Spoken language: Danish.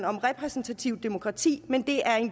om repræsentativt demokrati men det er